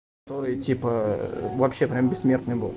типа вообще прям бессмертный был